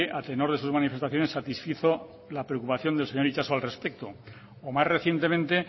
a tenor de sus manifestaciones satisfizo la preocupación del señor itxaso al respecto o más recientemente